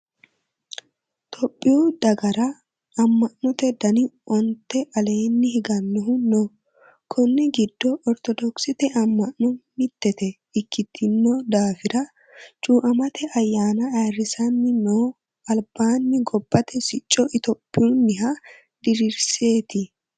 Tohiyu dagara ama'note dani onte aleeni higanohu no konni giddo orthodokkisete ama'no mitete ikkitino daafira cuamate ayyanna ayirrisani no albaani gobbate sicco itophiyuniha dirirsite.